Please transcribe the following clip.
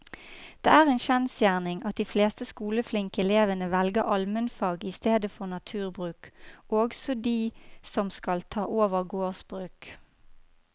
Det er en kjensgjerning at de fleste skoleflinke elevene velger allmennfag i stedet for naturbruk, også de som skal ta over gårdsbruk.